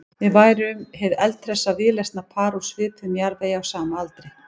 Við værum hið eldhressa víðlesna par úr svipuðum jarðvegi á sama aldri.